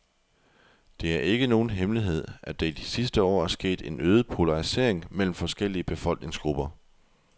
Det er ikke nogen hemmelighed, at der i de sidste år er sket en øget polarisering mellem forskellige befolkningsgrupper.